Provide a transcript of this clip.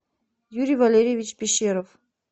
юрий валерьевич пещеров